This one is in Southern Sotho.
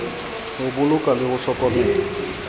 ho bolokwa le ho hlokomelwa